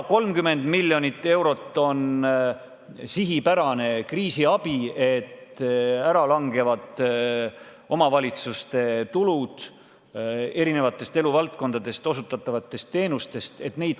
30 miljonit eurot on sihipärane kriisiabi, et katta omavalitsuste kulutusi eri eluvaldkondades osutatavate teenuste eest tasumiseks.